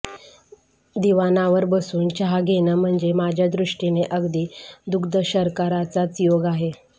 दिवाणावर बसून चहा घेणं म्हणजे माझ्या दृष्टीने अगदी दुग्धशर्कराचाच योग आहे